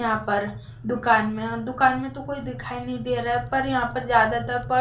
यहां पर दुकान में दुकान में तो कोई दिखाई नहीं दे रहा है पर यहां पर ज्यादातर पर--